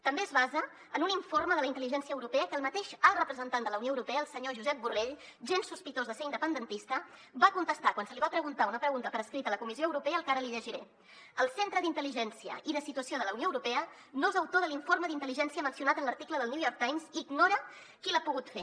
també es basa en un informe de la intel·ligència europea que el mateix alt representant de la unió europea el senyor josep borrell gens sospitós de ser independentista va contestar quan se li va preguntar una pregunta per escrit a la comissió europea el que ara li llegiré el centre d’intel·ligència i de situació de la unió europea no és autor de l’informe d’intel·ligència mencionat en l’article del new york times i ignora qui l’ha pogut fer